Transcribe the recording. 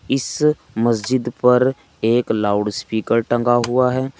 इस मस्जिद पर एक लाउडस्पीकर टंगा हुआ है।